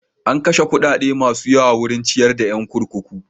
An kashe kuɗaɗa masu yawa wurin ciyar da yan kurkuku.